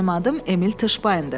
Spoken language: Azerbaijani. Mənim adım Emil Tışpayndır.